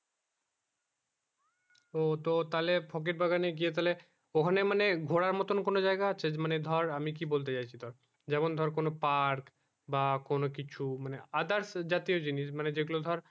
ও তো তাহলে ফকির বাগানে গিয়ে তাহলে ওখানে মানে ঘোড়ার মতন কোনো জায়গা আছে মানে ধর আমি কি বলতে চেয়েছি ধর যেমন ধর কোনো park বা কোনো কিছু মানে others জাতীয় জিনিস মানে যে গুলো ধর